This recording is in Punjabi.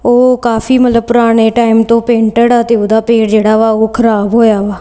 ਓਹ ਕਾਫੀ ਮਤਲਬ ਪੁਰਾਨੇ ਟੈਮ ਤੋਂ ਪੇਂਟੇਡ ਆ ਤੇ ਓਹਦਾ ਪੇਅਰ ਜੇਹੜਾ ਵਾ ਓਹ ਖਰਾਬ ਹੋਇਆਵਾ।